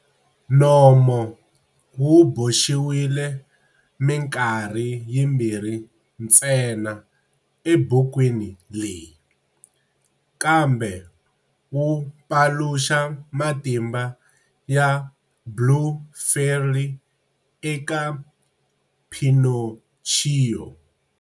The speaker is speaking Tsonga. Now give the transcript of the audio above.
Nomo wu boxiwile minkarhi yimbirhi ntsena ebukwini leyi, kambe wu paluxa matimba ya Blue Fairy eka Pinocchio.